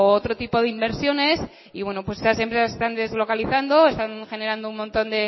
otro tipo de inversiones y bueno pues esas empresas se están deslocalizando están generando un montón